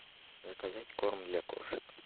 заказать корм для кошек